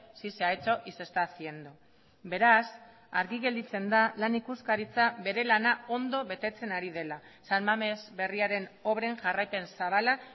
si se ha hecho y se está haciendo beraz argi gelditzen da lan ikuskaritza bere lana ondo betetzen ari dela san mamés berriaren obren jarraipen zabala